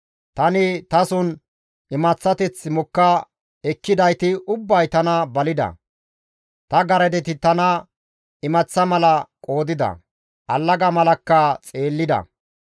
Tani tason imaththateth mokka ekkidayti ubbay tana balida; ta garadeti tana imaththa mala qoodida; allaga malakka xeellida.